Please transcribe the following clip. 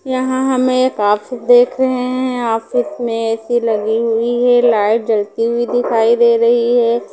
यहां हम एक ऑफिस देख रहे हैं ऑफिस में ए_सी लगी हुई है लाइट जलती हुई दिखाई दे रही है।